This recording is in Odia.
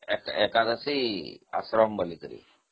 ଏକାଦଶୀ ଆଶ୍ରମ ବୋଲିକରି